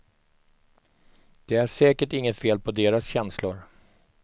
Det är säkert inget fel på deras känslor.